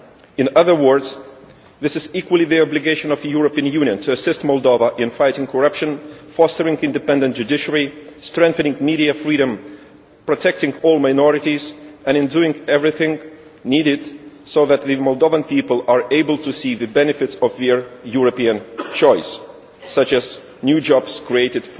In other words, it is equally the obligation of the European Union to assist Moldova in fighting corruption, fostering an independent judiciary, strengthening media freedom, protecting all minorities, and doing everything needed so that the Moldovan people are able to see the benefits of their European choice, such as new jobs created